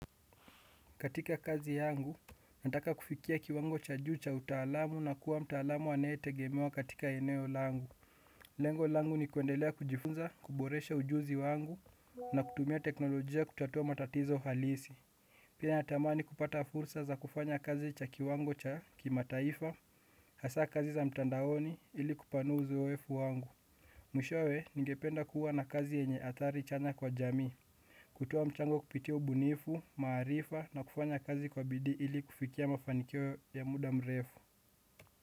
Katika kazi yangu, nataka kufikia kiwango cha juu cha utaalamu na kuwa mtaalamu anayetegemewa katika eneo langu. Lengo langu ni kuendelea kujifunza, kuboresha ujuzi wangu na kutumia teknolojia kutatua matatizo halisi. Pia natamani kupata fursa za kufanya kazi cha kiwango cha kimataifa, hasa kazi za mtandaoni ili kupanua uzoefu wangu. Mwishowe ningependa kuwa na kazi yenye athari chanya kwa jamii, kutoa mchango kupitia ubunifu, maarifa na kufanya kazi kwa bidii ili kufikia mafanikio ya muda mrefu.